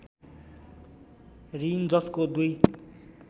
ऋण जसको दुई